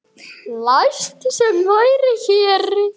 Lilla var þrjósk.